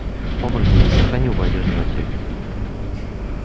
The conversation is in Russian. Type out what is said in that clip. оборотень не сохранил бы одежду на теле